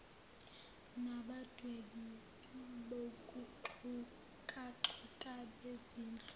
nabadwebi bokuxhakaxhaka bezindlu